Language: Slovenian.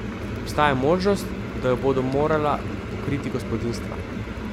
Obstaja možnost, da jo bodo morala pokriti gospodinjstva.